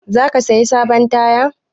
Za ka saya sabon taya?